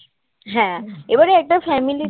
হ্যাঁ এবারে একটা ফ্যামিলি